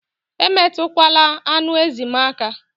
Emetukwala anụ ezi m aka!